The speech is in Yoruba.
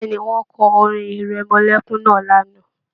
Bẹ̀ẹ́ni, wọn kọ orin-ìrẹmọlẹ́kún náà lánàá.